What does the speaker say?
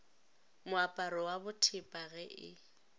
moaparo wa bothepa ge e